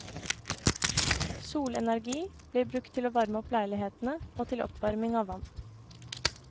Solenergi blir brukt til å varme opp leilighetene og til oppvarming av vann.